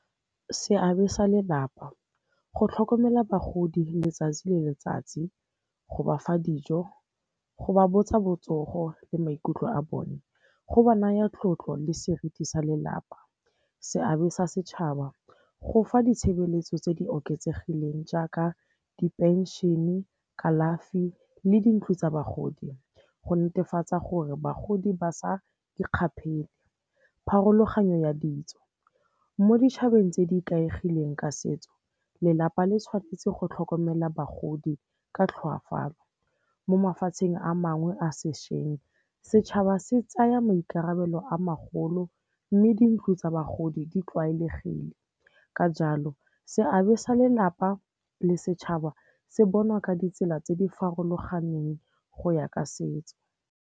Seabe sa lelapa, go tlhokomela bagodi letsatsi le letsatsi, go bafa dijo, go ba botsa botsogo le maikutlo a bone, go ba naya tlotlo le seriti sa lelapa. Seabe sa setšhaba, go fa ditshebeletso tse di oketsegileng jaaka diphenšene, kalafi le dintlo tsa bagodi, go netefatsa gore bagodi ba sa ikgapele. Pharologanyo ya ditso, mo ditšhabeng tse di ikaegileng ka setso lelapa le tshwanetse go tlhokomela bagodi ka tlhoafalo. Mo mafatsheng a mangwe a sešweng, setšhaba se tsaya maikarabelo a magolo mme di ntlo tsa bagodi di tlwaelegile. Ka jalo, seabe sa lelapa le setšhaba se bonwa ka ditsela tse di farologaneng go ya ka setso.